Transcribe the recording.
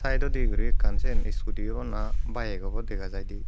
saidodi guri ekkan siyen skuti obo na baek obo dega jaidey.